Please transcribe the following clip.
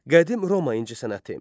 Qədim Roma incəsənəti.